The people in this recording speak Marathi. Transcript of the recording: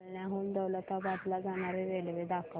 जालन्याहून दौलताबाद ला जाणारी रेल्वे दाखव